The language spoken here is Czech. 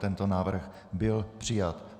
Tento návrh byl přijat.